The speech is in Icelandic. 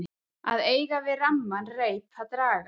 Að eiga við ramman reip að draga